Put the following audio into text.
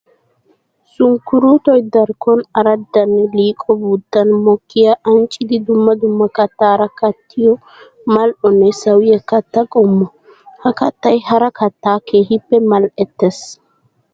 Sunkkuruutoy darkkon araddanne liiqo biittan mokkiya ancciddi dumma dumma kattara kattiyo mali'onne sawiya katta qommo. Ha kattay hara katta keehippe mali'ettes.